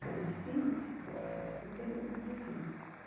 Foi difícil, foi difícil, foi um período difícil.